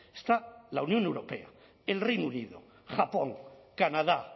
está la unión europea el reino unido japón canadá